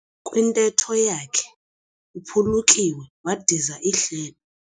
Kwintetho yakhe uphulukiwe wadiza ihlebo.